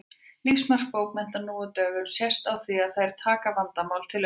Lífsmark bókmennta nú á dögum sést á því að þær taka vandamál til umræðu.